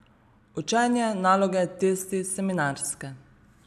Učenje, naloge, testi, seminarska ...